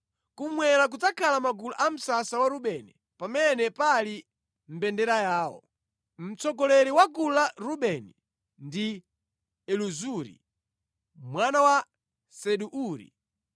Kummwera kudzakhala magulu a msasa wa Rubeni pamene pali mbendera yawo. Mtsogoleri wa gulu la Rubeni ndi Elizuri mwana wa Sedeuri.